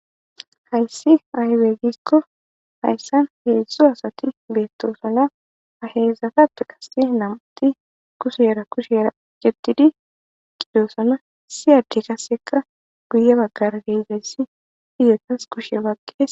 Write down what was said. hayssi aybegiskko hayssan heedzdzo asati beettosana aheezatappe kasse nam7uti kusuyera kusheera gettidi qidoosana siyadde kasseka guye baggar heeyzayssi izetas kushe waqe